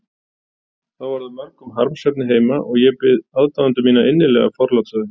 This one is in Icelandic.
þá var það mörgum harmsefni heima, og ég bið aðdáendur mína innilega forláts á því.